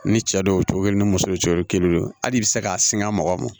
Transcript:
Ni cɛ don o cogo kelen ni muso ye coron i kelen ye hali i bɛ se k'a singan mɔgɔw ma